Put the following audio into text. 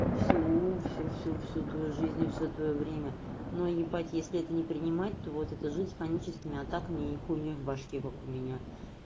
всю всю всю всю всю твою жизнь и всё твоё время но ебать если это не принимать то вот это жизнь паническими атаками и хуйней в башке как у меня